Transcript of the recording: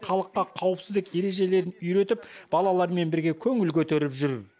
халыққа қауіпсіздік ережелерін үйретіп балалармен бірге көңіл көтеріп жүр